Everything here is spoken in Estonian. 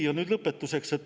Nüüd lõpetuseks.